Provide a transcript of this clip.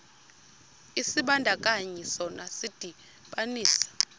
isibandakanyi sona sidibanisa